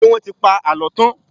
Ṣé wọ́n ti pa àlọ́ tán?